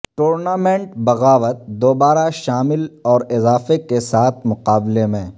tournament بغاوت دوبارہ شامل اور اضافہ کے ساتھ مقابلے میں